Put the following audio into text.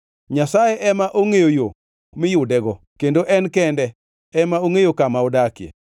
Nyasaye ema ongʼeyo yo miyudego kendo en kende ema ongʼeyo kama odakie,